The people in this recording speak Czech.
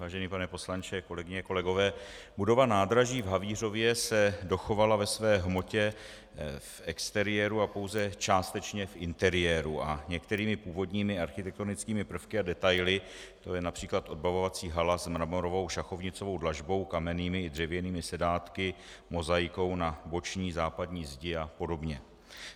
Vážený pane poslanče, kolegyně, kolegové, budova nádraží v Havířově se dochovala ve své hmotě v exteriéru a pouze částečně v interiéru a některými původními architektonickými prvky a detaily, jako je například odbavovací hala s mramorovou šachovnicovou dlažbou, kamennými i dřevěnými sedátky, mozaikou na boční západní zdi a podobně.